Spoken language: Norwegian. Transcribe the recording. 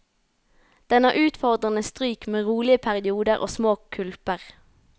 Den har utfordrende stryk med rolige perioder og små kulper.